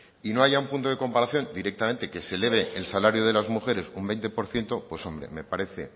y no haya un punto de comparación directamente que se eleve el salario de las mujeres un veinte por ciento pues hombre me parece